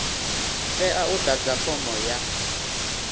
tea u ḓadza fomo ya